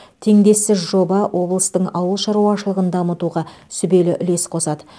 теңдессіз жоба облыстың ауыл шаруашылығын дамытуға сүбелі үлес қосады